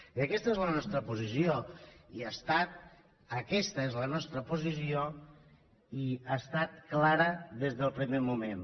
i aquesta és la nostra posició aquesta és la nostra posició i ha estat clara des del primer moment